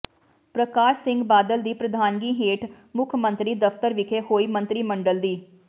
ਪਰਕਾਸ਼ ਸਿੰਘ ਬਾਦਲ ਦੀ ਪ੍ਰਧਾਨਗੀ ਹੇਠ ਮੁੱਖ ਮੰਤਰੀ ਦਫ਼ਤਰ ਵਿਖੇ ਹੋਈ ਮੰਤਰੀ ਮੰਡਲ ਦੀ